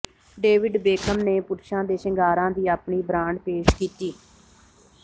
David Beckham ਨੇ ਪੁਰਸ਼ਾਂ ਦੇ ਸ਼ਿੰਗਾਰਾਂ ਦੀ ਆਪਣੀ ਬ੍ਰਾਂਡ ਪੇਸ਼ ਕੀਤੀ